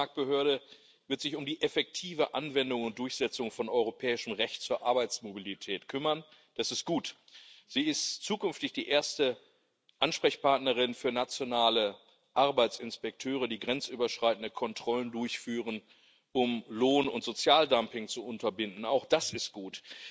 Die Arbeitsmarktbehörde wird sich um die effektive Anwendung und Durchsetzung von europäischem Recht zur Arbeitsmobilität kümmern das ist gut. Sie ist zukünftig die erste Ansprechpartnerin für nationale Arbeitsinspekteure, die grenzüberschreitende Kontrollen durchführen, um Lohn und Sozialdumping zu unterbinden auch das ist gut.